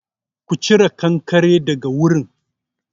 Ku cire kankare daga wurin!